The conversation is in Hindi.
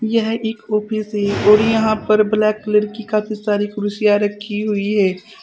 यह एक ऑफिस है और यहां पर ब्लैक कलर की काफी सारी कुर्सियां रखी हुई है।